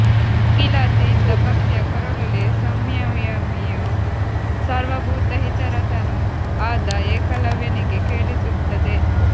ಮುಗಿಲಾಚೆ ಇದ್ದ ಪಕ್ಷಿಯ ಕೊರಳುಲಿ ಸಂಯಮಿಯೂ ಸರ್ವಭೂತಹಿತರತನೂ ಆದ ಏಕಲವ್ಯನಿಗೆ ಕೇಳಿಸುತ್ತದೆ